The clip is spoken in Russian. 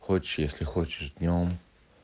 хочешь если хочешь днём